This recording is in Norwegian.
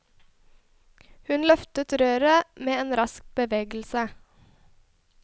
Hun løftet røret med en rask bevegelse.